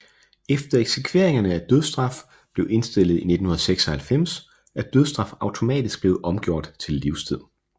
Efter eksekveringerne af dødsstraf blev indstillet i 1996 er dødsstraf automatisk blevet omgjort til livstid